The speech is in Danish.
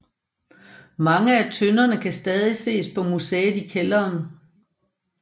Mange af tønderne kan stadig ses på museet i kælderen